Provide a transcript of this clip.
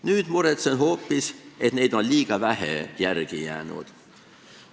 Nüüd muretsen hoopis, et neid on liiga vähe järele jäänud.